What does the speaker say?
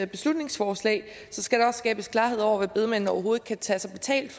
beslutningsforslag skal der skabes klarhed over hvad bedemændene overhovedet kan tage sig betalt